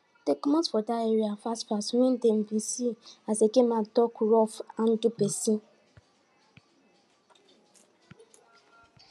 dem comot for dat area fast fast wen dem bin see as eke men tak rough handle pesin